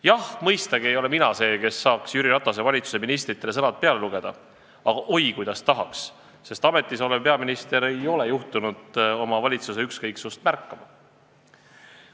Jah, mõistagi ei ole mina see, kes saaks Jüri Ratase valitsuse ministritele sõnad peale lugeda, aga oi kuidas tahaks, sest ametis olev peaminister ei ole juhtunud oma valitsuse ükskõiksust märkama.